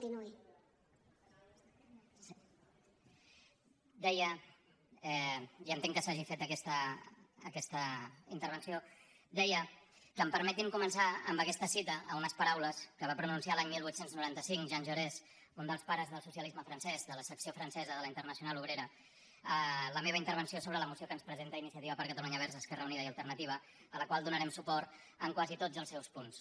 deia i entenc que s’hagi fet aquesta intervenció que em permetin començar amb aquesta cita amb unes paraules que va pronunciar l’any divuit noranta cinc jean jaurès un dels pares del socialisme francès de la secció francesa de la internacional obrera la meva intervenció sobre la moció que ens presenta iniciativa per catalunya verds esquerra unida i alternativa a la qual donarem suport en quasi tots els seus punts